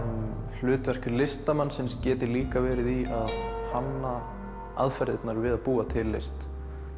hlutverk listamannsins geti líka verið í að hanna aðferðirnar við að búa til list